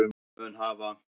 mun hafa